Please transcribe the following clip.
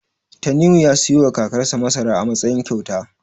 Tanimu ya siyowa kakarsa masara a matsayin kyauta.